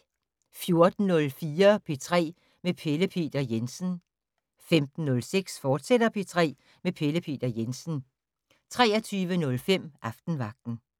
14:04: P3 med Pelle Peter Jensen 15:06: P3 med Pelle Peter Jensen, fortsat 23:05: Aftenvagten